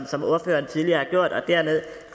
som ordføreren tidligere har gjort og dernede